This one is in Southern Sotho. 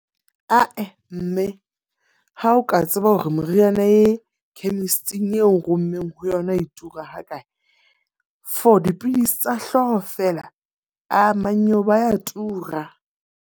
Ah-eh, mme ha o ka tseba hore meriana ee, chemist-ing eo o nrommeng ho yona e tura ha kae? For dipidisi tsa hlooho feela, aa mannyeo ba ya tura.